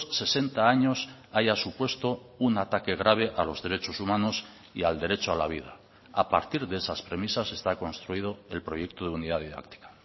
sesenta años haya supuesto un ataque grave a los derechos humanos y al derecho a la vida a partir de esas premisas está construido el proyecto de unidad didáctica